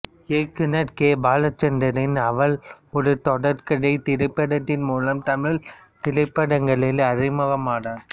இயக்குநர் கே பாலசந்தரின் அவள் ஒரு தொடர்கதை திரைப்படத்தின் மூலம் தமிழ்த் திரைப்படங்களில் அறிமுகமானார்